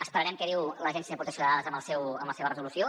esperarem què diu l’agència de protecció de dades en la seva resolució